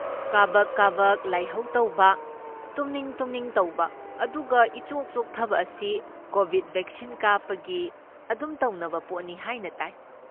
ꯀꯥꯕꯛ ꯀꯥꯕꯛ ꯂꯥꯏꯍꯧ ꯇꯧꯕ, ꯇꯨꯝꯅꯤꯡ ꯇꯨꯝꯅꯤꯡ ꯇꯧꯕ, ꯑꯗꯨꯒ ꯏꯆꯣꯛ ꯆꯣꯛꯊꯕ ꯑꯁꯤ ꯀꯣꯚꯤꯗ ꯚꯦꯛꯁꯤꯟ ꯀꯥꯞꯄꯒꯤ ꯑꯗꯨꯝ ꯇꯧꯅꯕ ꯄꯣꯠꯅꯤ ꯍꯥꯏꯅ ꯇꯥꯏ꯫